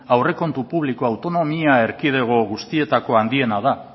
aurrekontu publikoa autonomia erkidego guztietako handiena da